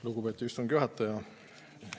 Lugupeetud istungi juhataja!